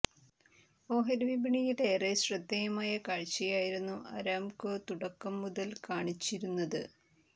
ഓഹരി വിപണിയിൽ ഏറെ ശ്രദ്ധേയമായ കാഴ്ചയായിരുന്നു അരാംകോ തുടക്കം മുതൽ കാണിച്ചിരുന്നത്